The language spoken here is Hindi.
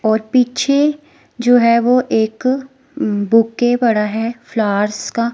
और पीछे जो है एक बुके पड़ा है फ्लावर्स का --